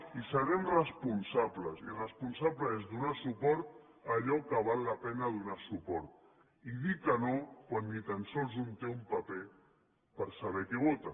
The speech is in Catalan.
i serem responsables i responsable és donar suport a allò que val la pena donar suport i dir que no quan ni tan sols un té un paper per saber què vota